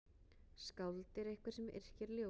Skáld er einhver sem yrkir ljóð.